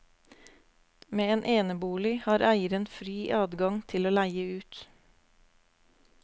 Med en enebolig har eieren fri adgang til å leie ut.